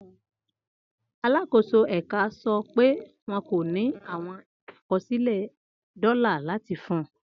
Alakoso ẹka sọ pe wọn ko ni awọn akọsilẹ dola lati fun